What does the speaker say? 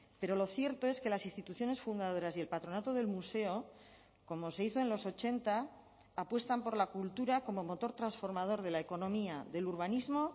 pero lo cierto es que las instituciones fundadoras y el patronato del museo como se hizo en los ochenta apuestan por la cultura como motor transformador de la economía del urbanismo